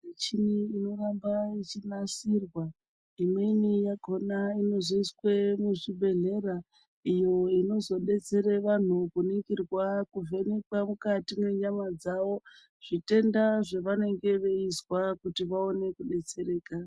Muchini inoramba yechinasirwa, imweni yakhona inozoiswe muzvibhedhlera. Iyo inozodetsere vantu kuningirwa kuvhenekwa mukati mwenyama dzavo, zvitenda zvevanenge veizwa kuti vaone kudetsereka.